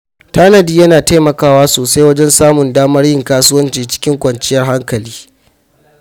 Tanadi yana taimakawa sosai wajen samun damar yin kasuwanci cikin kwanciyar hankali.